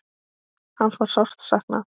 Hans var sárt saknað.